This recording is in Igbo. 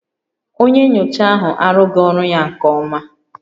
Onye nyocha ahụ arụghị ọrụ ya nke ọma